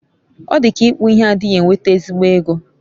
odika ikpu ihe adighi enweta ezigbo ego